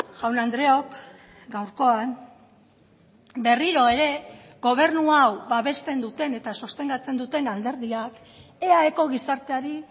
jaun andreok gaurkoan berriro ere gobernu hau babesten duten eta sostengatzen duten alderdiak eaeko gizarteari